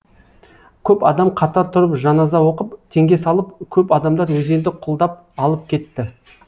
көп адам қатар тұрып жаназа оқып теңге салып көп адамдар өзенді құлдап алып кетті